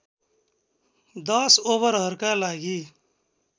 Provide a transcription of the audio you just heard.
१० ओभरहरूका लागि